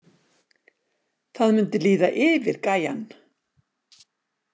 Það mundi líða yfir gæjann!